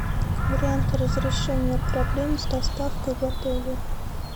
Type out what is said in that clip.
варианты разрешения проблем с доставкой в отеле